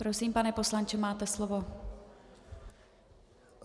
Prosím, pane poslanče, máte slovo.